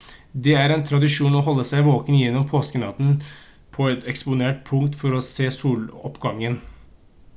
det er en tradisjon å holde seg våken gjennom påskenatten på et eksponert punkt for å se soloppgangen